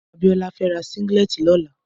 Abiola fè rà sìnglètí lòlá